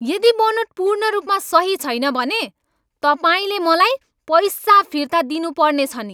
यदि बनोट पूर्ण रूपमा सही छैन भने, तपाईँले मलाई पैसा फिर्ता दिनुपर्नेछ नि।